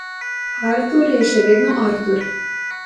Artur je še vedno Artur.